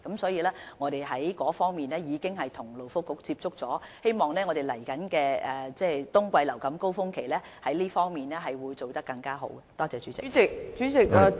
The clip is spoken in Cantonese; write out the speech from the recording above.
所以，作為應對措施，我們亦有與勞工及福利局接觸，希望在接下來的冬季流感高峰期，可以做好這方面的工作。